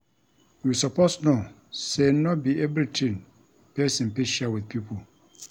You suppose know sey no be everytin pesin fit share wit pipo.